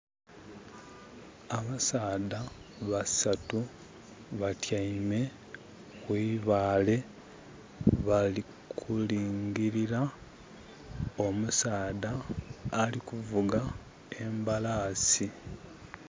Abasaadha basatu batyaime kwibaale bali kulingirira omusaadha alikuvuga embalasi.